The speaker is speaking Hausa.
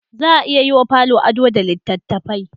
Za a iya yi wa falo ado da littattafai